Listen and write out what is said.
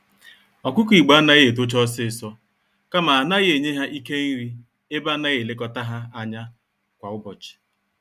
Ọkụkọ Igbo anaghị etocha ọsịsọ, kama anaghị enye ha Ike nri, ebe anaghị elekọta ha ányá kwa ụbọchị.